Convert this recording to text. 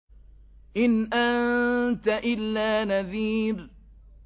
إِنْ أَنتَ إِلَّا نَذِيرٌ